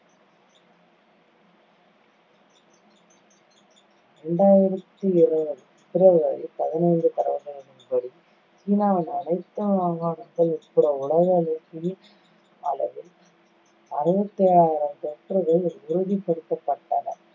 இரண்டாயிரத்தி இருவது பிப்ரவரி பதினைந்து தரவுகளின்படி, சீனாவின் அனைத்து மாகாணங்கள் உட்பட உலகளவில் அளவில் அறுவத்து ஏழாயிரம் தொற்றுகள் உறுதிப்படுத்தப்பட்டன